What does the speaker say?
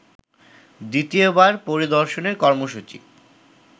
দ্বিতীয়বার পরিদর্শনের কর্মসূচি